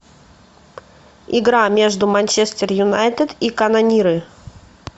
игра между манчестер юнайтед и канониры